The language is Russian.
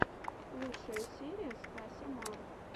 лучшая серия стася мар